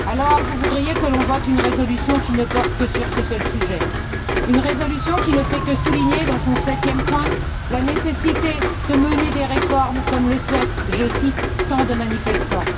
Et vous voudriez que l'on vote une résolution qui ne porte que sur ce seul sujet, une résolution qui ne fait que souligner, dans son septième point, la nécessité de mener des réformes comme le souhaitent, je cite, tant de manifestants?